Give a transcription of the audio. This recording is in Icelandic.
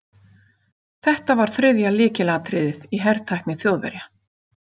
Þetta var þriðja lykilatriðið í hertækni Þjóðverja.